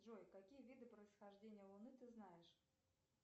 джой какие виды происхождения луны ты знаешь